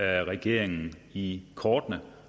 regeringen i kortene